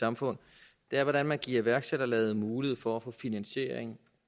samfund er hvordan man giver iværksætterlaget mulighed for at få finansiering